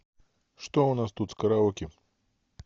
что у нас тут с караоке